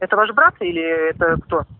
это ваш брат или это кто